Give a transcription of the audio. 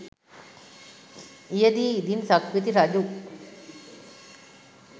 එහිදී ඉදින් සක්විති රජු